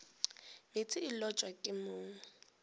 meetse e lotwa ke mong